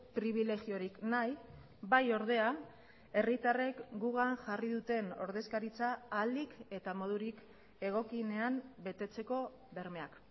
pribilegiorik nahi bai ordea herritarrek gugan jarri duten ordezkaritza ahalik eta modurik egokienean betetzeko bermeak